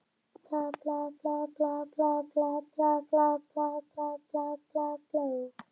Og ég sé að magi hennar er þaninn út í hvítan kjólinn.